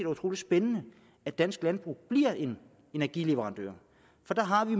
utrolig spændende at dansk landbrug bliver en energileverandør for der har vi